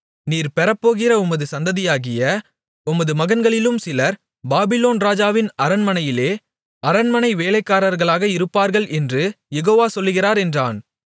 நீர் பெறப்போகிற உமது சந்ததியாகிய உமது மகன்களிலும் சிலர் பாபிலோன் ராஜாவின் அரண்மனையிலே அரண்மனை வேலைக்காரர்களாக இருப்பார்கள் என்று யெகோவ சொல்லுகிறார் என்றான்